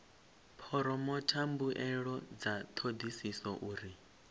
phoromotha mbuelo dza thodisiso uri